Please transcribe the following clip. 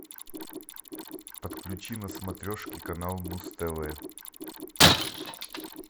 подключи на смотрешке канал муз тв